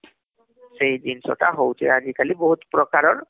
ସେଇ ଜିନ୍ସ ଟା ହଉଛି ଆଜି କାଲି ବହୁତ ପ୍ରକାରର